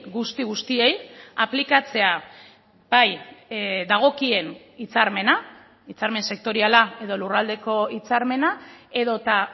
guzti guztiei aplikatzea bai dagokien hitzarmena hitzarmen sektoriala edo lurraldeko hitzarmena edota